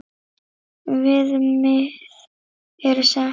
Viðmið eru sett.